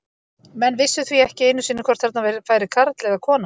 Menn vissu því ekki einu sinni hvort þarna færi karl eða kona.